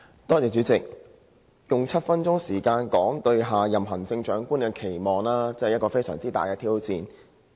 代理主席，要用7分鐘來表達我對下任行政長官的期望，真的是非常大的挑戰。